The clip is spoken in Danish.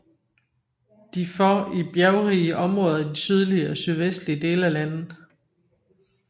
De for i bjergrige områder i de sydlige og sydvestlige dele af landet